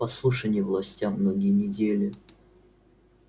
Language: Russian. послушание властям многие недели